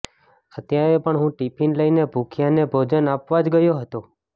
અત્યારે પણ હું ટિફિન લઈને ભૂખ્યાંને ભોજન આપવા જ ગયો હતો